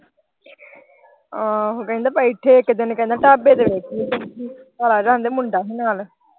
ਆਹੋ ਕਹਿੰਦਾ ਬੈਠੇ ਇੱਕ ਦਿਨ ਢਾਬੇ ਤੇ ਬੈਠੀ ਹੀ ਮੁੰਡਾ ਹੀ ਨਾਲ।